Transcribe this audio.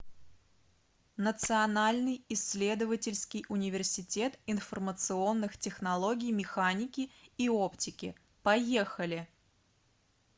национальный исследовательский университет информационных технологий механики и оптики поехали